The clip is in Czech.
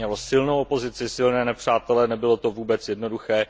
Mělo silnou opozici, silné nepřátele, nebylo to vůbec jednoduché.